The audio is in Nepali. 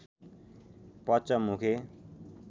पचमुखे